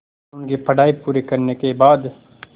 क़ानून की पढा़ई पूरी करने के बाद